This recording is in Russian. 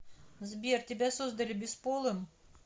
сбер тебя создали бесполым